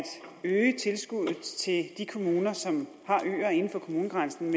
øge tilskuddet til de kommuner som har øer inden for kommunegrænsen